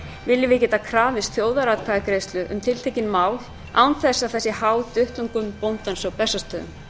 viljum við geta krafist þjóðaratkvæðagreiðslu um tiltekin mál án þess að það sé háð duttlungum bóndans á bessastöðum